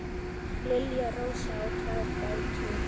Lilja Rósa á tvær dætur.